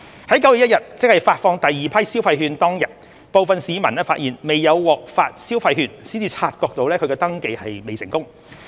在9月1日，即發放第二批消費券當天，部分市民發現未有獲發消費券才察覺其登記未成功。